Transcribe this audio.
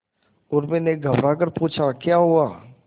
उर्मी ने घबराकर पूछा क्या हुआ